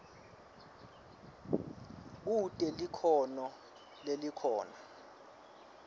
kute likhono lelikhona